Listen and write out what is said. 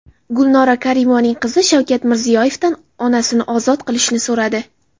Gulnora Karimovaning qizi Shavkat Mirziyoyevdan onasini ozod qilishni so‘radi.